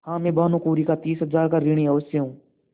हाँ मैं भानुकुँवरि का तीस हजार का ऋणी अवश्य हूँ